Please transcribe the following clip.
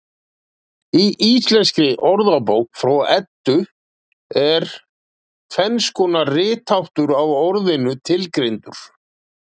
Í Íslenskri orðabók frá Eddu er tvenns konar ritháttur á orðinu tilgreindur.